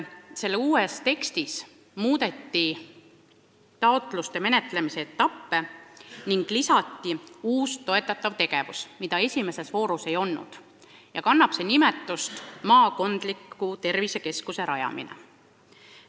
Selle uues tekstis on muudetud taotluste menetlemise etappe ning lisatud uus toetatav tegevus, mida esimeses voorus ei olnud: see on maakondlike tervisekeskuste rajamine.